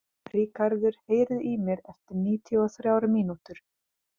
Ríkarður, heyrðu í mér eftir níutíu og þrjár mínútur.